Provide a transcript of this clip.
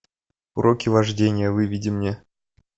уроки вождения выведи мне